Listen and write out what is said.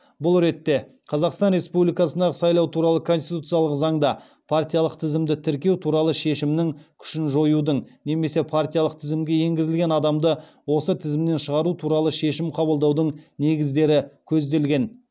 бұл ретте қазақстан республикасындағы сайлау туралы конституциялық заңда партиялық тізімді тіркеу туралы шешімнің күшін жоюдың немесе партиялық тізімге енгізілген адамды осы тізімнен шығару туралы шешім қабылдаудың негіздері көзделген